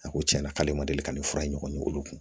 A ko tiɲɛna k'ale ma deli ka nin fura in kɔni olu kun